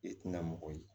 I tina mɔgɔ ye